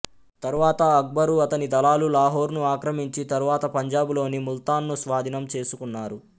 తరువాత అక్బరు అతని దళాలు లాహోర్ను ఆక్రమించి తరువాత పంజాబులోని ముల్తాన్ను స్వాధీనం చేసుకున్నారు